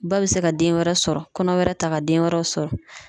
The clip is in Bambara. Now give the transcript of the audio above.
Ba be se ka den wɛrɛ sɔrɔ ,kɔnɔ wɛrɛ ta ka den wɛrɛ sɔrɔ.